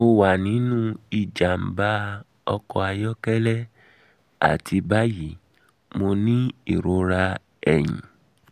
mo wa ninu ijamba um ọkọ ayọkẹlẹ ati bayi mo ni irora ẹhin